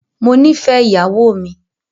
Mó nìfẹ ìyàwó mi.